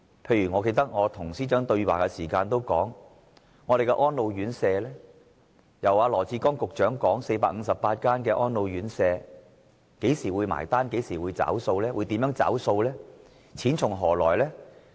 例如，我與司長對話時也提及安老院舍的問題，羅致光局長所說的458間安老院舍，何時會兌現呢？如何兌現和錢從何來呢？